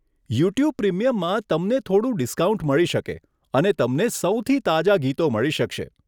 YouTube પ્રીમિયમમાં તમને થોડું ડિસ્કાઉન્ટ મળી શકે અને તમને સૌથી તાજા ગીતો મળી શકશે.